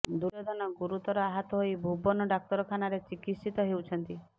ଦୁର୍ଯୋଧନ ଗୁରୁତର ଆହତ ହୋଇ ଭୁବନ ଡାକ୍ତରଖାନାରେ ଚିକିତ୍ସିତ ହେଉଛନ୍ତି